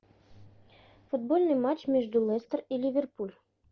футбольный матч между лестер и ливерпуль